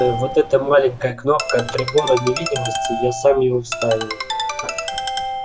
вот эта маленькая кнопка от прибора невидимости я сам его вставил